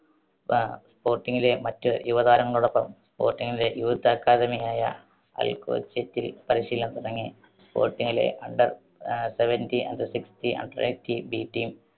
sporting ലെ മറ്റ് യുവ താരങ്ങളോടൊപ്പം sporting ന്റെ youth academy ആയ അൽക്കോച്ചിറ്റിൽ പരിശീലനം തുടങ്ങി. sporting ലെ under ah seventeen, under sixteen B Team